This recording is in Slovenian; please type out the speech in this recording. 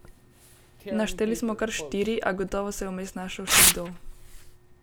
Našteli smo kar štiri, a gotovo se je vmes našel še kdo.